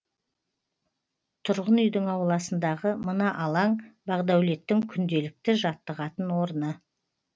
тұрғын үйдің ауласындағы мына алаң бағдәулеттің күнделікті жаттығатын орны